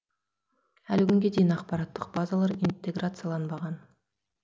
әлі күнге дейін ақпараттық базалар интеграцияланбаған